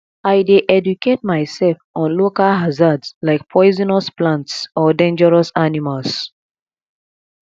i dey educate myself on local hazards like poisonous plants or dangerous animals